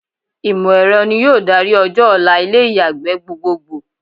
Ìmọ̀ ẹ̀rọ ni yóò darí ọjọ́-ọ̀la ilé ìyàgbẹ́ gbogbogbò.